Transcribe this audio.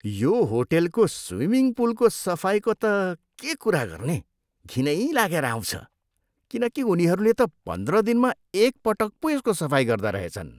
यो होटेलको स्विमिङ पुलको सफाइको त के कुरा गर्ने, घिनै लागेर आउँछ किनकि उनीहरूले त पन्ध्र दिनमा एकपटक पो यसको सफाइ गर्दा रहेछन्।